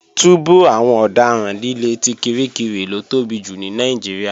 Túbú àwọn ọ̀daràn líle ti Kirikiri ló tóbi jù ní Nàìjíríà